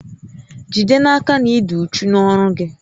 Jide n'aka na ị dị uchu n'ọrụ gị